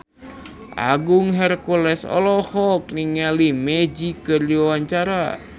Agung Hercules olohok ningali Magic keur diwawancara